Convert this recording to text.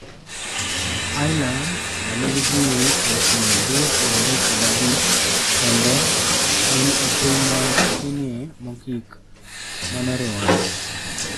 Iceland, ma nigi ji 335,000 kende, en e piny matinie mogik manoriwore.